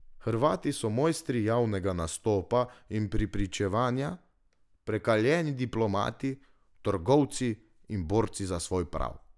Hrvati so mojstri javnega nastopa in prepričevanja, prekaljeni diplomati, trgovci in borci za svoj prav.